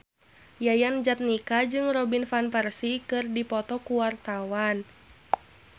Yayan Jatnika jeung Robin Van Persie keur dipoto ku wartawan